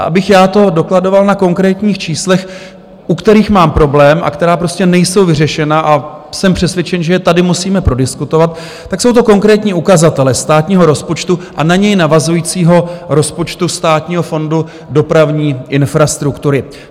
A abych já to dokladoval na konkrétních číslech, u kterých mám problém a která prostě nejsou vyřešena, a jsem přesvědčen, že je tady musíme prodiskutovat, tak jsou to konkrétní ukazatele státního rozpočtu a na něj navazujícího rozpočtu Státního fondu dopravní infrastruktury.